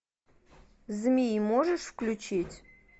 змеи можешь включить